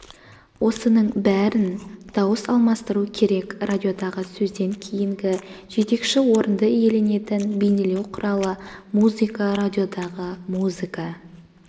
осының бәрін дауыс алмастыруы керек радиодағы сөзден кейінгі жетекші орынды иеленетін бейнелеу құралы музыка радиодағы музыка